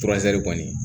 kɔni